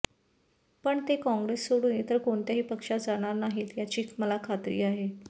पण ते काँग्रेस सोडून इतर कोणत्याही पक्षात जाणार नाहीत याची मला खात्री आहे